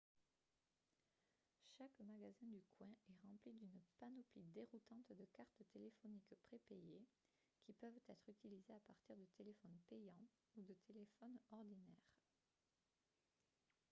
chaque magasin du coin est rempli d'une panoplie déroutante de cartes téléphoniques prépayées qui peuvent être utilisées à partir de téléphones payants ou de téléphones ordinaires